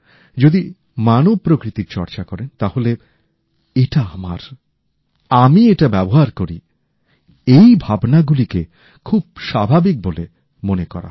যদি মানব প্রকৃতির চর্চা করেন তাহলেএটা আমার আমি এটা ব্যবহার করি এই ভাবনাগুলিকে খুব স্বাভাবিক বলে মনে করা হয়